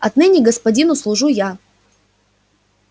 отныне господину служу я